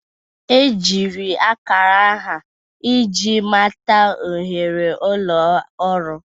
Ejiri akara aha iji mata ohere ulo ọrụ.